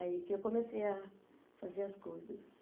Aí que eu comecei a fazer as coisas.